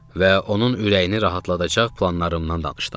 Və onun ürəyini rahatladacaq planlarımdan danışdım.